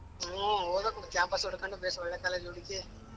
ಹ್ಮ್ ಓದ್ಬೇಕು ಒಳ್ಳೆ campus ಉಡ್ಕ್ಬೇಕು ಬೇಷ್ ಒಲ್ಲೆ college ಹುಡಿಕಿ.